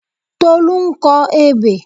Tolú ń kọ ebè.